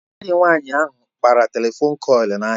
Agadị nwanyị ahụ kpara telefon kọịlị n'ahịa